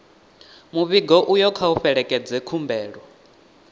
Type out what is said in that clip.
muvhigo uyo kha u fhelekedze khumbelo